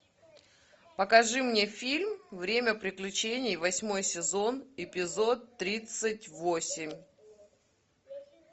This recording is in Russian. покажи мне фильм время приключений восьмой сезон эпизод тридцать восемь